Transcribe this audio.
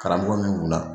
Karamɔgɔ min kunna